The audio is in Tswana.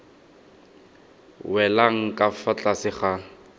welang ka fa tlase ga